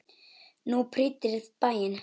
Þú prýddir bæinn.